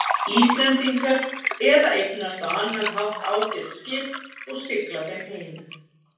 Íslendingar eða eignast á annan hátt ágæt skip og sigla þeim heim.